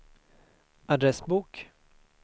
adressbok